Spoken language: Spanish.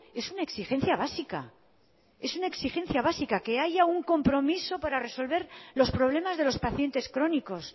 es una exigencia básica es una exigencia básica que haya un compromiso para resolver los problemas de los pacientes crónicos